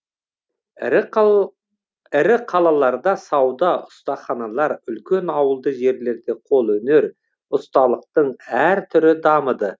ірі қалаларда сауда ұстаханалар үлкен ауылды жерлерде қолөнер ұсталықтың әр түрі дамыды